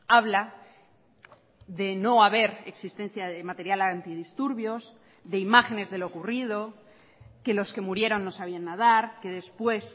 habla de no haber existencia de material antidisturbios de imágenes de lo ocurrido que los que murieron no sabían nadar que después